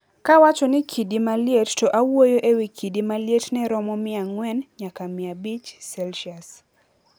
Kawacho ni kidi maliet to awuoyo e wi kidi malietne romo 400 nyaka 500C.